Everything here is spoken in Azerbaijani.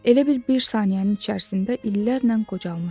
Elə bil bir saniyənin içərisində illərlə qocalmışdı.